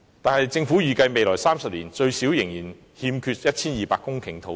可是，政府預計未來30年最少仍欠 1,200 公頃土地。